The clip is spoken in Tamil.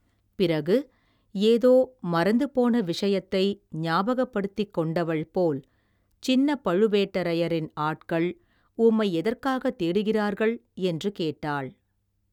பிறகு ஏதோ மறந்துபோன விஷயத்தை ஞாபகப்படுத்திக் கொண்டவள் போல் சின்னப் பழுவேட்டரையரின் ஆட்கள் உம்மை எதற்காகத் தேடுகிறார்கள் என்று கேட்டாள்.